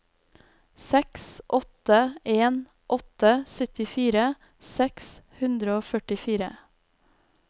seks åtte en åtte syttifire seks hundre og førtifire